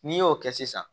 N'i y'o kɛ sisan